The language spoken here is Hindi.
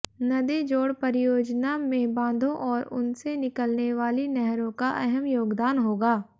नदी जोड़ परियोजना में बांधों और उनसे निकलने वाली नहरों का अहम योगदान होगा